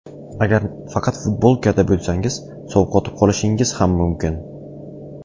Agar faqat futbolkada bo‘lsangiz, sovqotib qolishingiz ham mumkin.